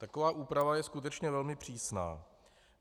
Taková úprava je skutečně velmi přísná.